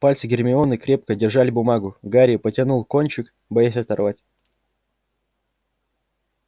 пальцы гермионы крепко держали бумагу гарри потянул кончик боясь оторвать